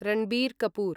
Ranbir Kapoor